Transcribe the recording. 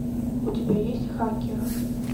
у тебя есть хакер